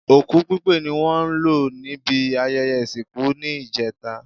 Òkú pípé ni wọ́n lò níbi ayẹyẹ ìsìnkú ní ìjẹta